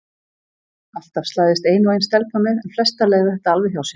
Alltaf slæðist ein og ein stelpa með en flestar leiða þetta alveg hjá sér.